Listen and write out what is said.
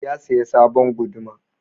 Ya saya sabon guduma.